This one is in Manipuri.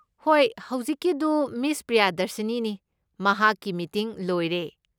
ꯍꯣꯏ, ꯍꯧꯖꯤꯛꯀꯤꯗꯨ ꯃꯤꯁ ꯄ꯭ꯔꯤꯌꯥꯗꯔꯁꯤꯅꯤꯅꯤ, ꯃꯍꯥꯛꯀꯤ ꯃꯤꯇꯤꯡ ꯂꯣꯏꯔꯦ꯫